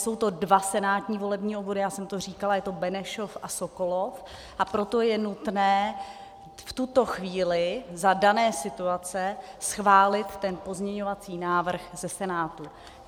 Jsou to dva senátní volební obvody, já jsem to říkala, je to Benešov a Sokolov, a proto je nutné v tuto chvíli za dané situace schválit ten pozměňovací návrh ze Senátu.